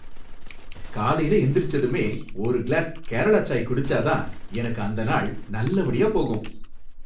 காலையில எந்திரிச்சதுமே ஒரு கிளாஸ் கேரளா சாய் குடிச்சா தான் எனக்கு அந்த நாள் நல்லபடியா போகும்.